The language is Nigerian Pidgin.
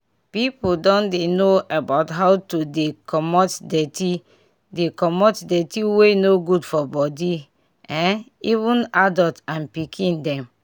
people don dey know about how to dey comot dirty dey comot dirty wey no good for body eh even adult and pikin dem